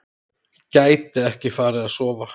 Gæti ekki farið að sofa.